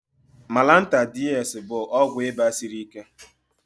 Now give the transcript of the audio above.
Malanta DS bụ ịba dtu siri ike